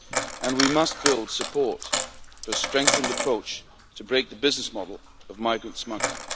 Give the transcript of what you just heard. and we must build support for a strengthened approach to break the business model of migrant smuggling.